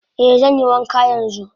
Eh zanyi wanka yanzu.